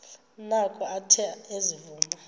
noko athe ezivuma